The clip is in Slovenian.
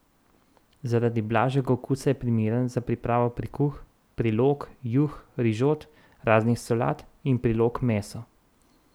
Zaradi blažjega okusa je primeren za pripravo prikuh, prilog, juh, rižot, raznih solat in prilog mesu.